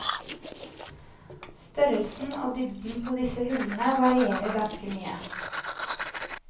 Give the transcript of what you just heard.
Størrelsen og dybden på disse hullene varierer ganske mye.